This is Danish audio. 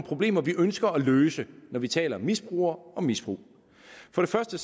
problemer vi ønsker at løse når vi taler misbrugere og misbrug for det første